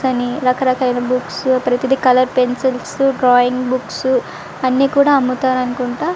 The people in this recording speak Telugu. కానీ రక రకాలైన బుక్స్ ప్రతిదీ కలర్ పెన్సిల్స్ డ్రాయింగ్ బుక్స్ అన్ని కూడా అమ్ముతారు అనుకుంట.